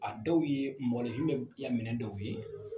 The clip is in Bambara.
A dɔw ye mɔgɔninfin bɛɛ minɛn dɔw ye